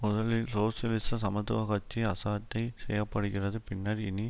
முதலில் சோசியலிச சமத்துவ கட்சி அசட்டை செய்ய படுகிறது பின்னர் இனி